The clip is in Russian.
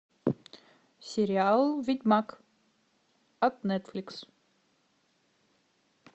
сериал ведьмак от нетфликс